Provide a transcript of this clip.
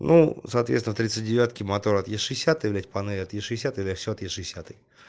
ну соответственно тридцать девятки мотор от е шестидесятой блять панель от е шестидесятой всё от е шестидесятой